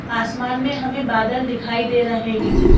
आसमान में हमें बादल दिखाई दे रहे हैं।